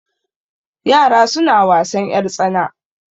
Yara suna wasan ƴartsana.